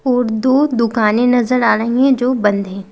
और दो दुकानें नजर आ रही हैं जो बंद हैं।